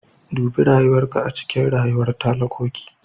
Dubi rayuwar ka a cikin unguwar talakoki.